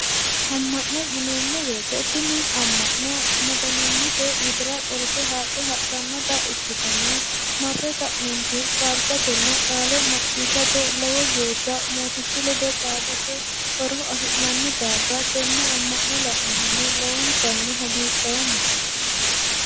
Amma'no yineemmo woyiite tini amma'no Maganimmate widira qolte haadhe hadhanno ikkitanna marre ke'neenti faarsatenna qaale macciishshate lowo geeshsha mootichu ledo xaadate horo afi'nanni daafira tenne amma'no la'nohunni lowontanni hagiidhoomma.